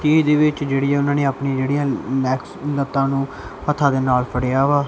ਇਹਦੇ ਵਿੱਚ ਜਿਹੜੀਆਂ ਉਹਨਾਂ ਨੇ ਆਪਣੀ ਜਿਹੜੀਆਂ ਲੈਗਸ ਲੱਤਾਂ ਨੂੰ ਹੱਥਾਂ ਦੇ ਨਾਲ ਫੜਿਆ ਵਾ।